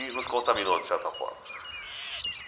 E nos contaminou, de certa forma.